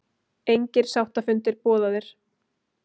Engir sáttafundir boðaðir